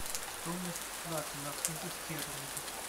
стоимость лата на фунты стерлинги